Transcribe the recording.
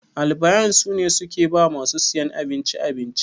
Albayan sune suke ba masu siyan abinci abinci.